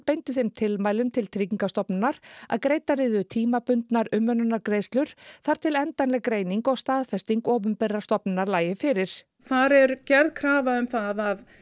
beindi þeim tilmælum til Tryggingastofnunar að greiddar yrðu tímabundnar umönnunargreiðslur þar til endanleg greining og staðfesting opinberrar stofnunar lægi fyrir þar er gerð krafa um það